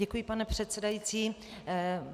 Děkuji, pane předsedající.